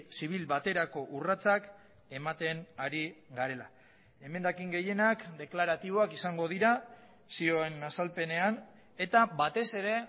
zibil baterako urratsak ematen ari garela emendakin gehienak deklaratiboak izango dira zioen azalpenean eta batez ere